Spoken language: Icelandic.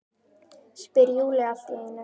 spyr Júlía allt í einu.